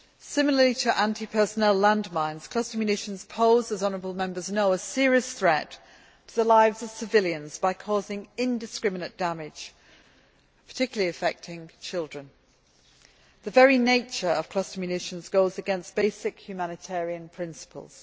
Similarly to anti personnel landmines, cluster munitions pose as honourable Members know a serious threat to the lives of civilians by causing indiscriminate damage, particularly affecting children. The very nature of cluster munitions goes against basic humanitarian principles.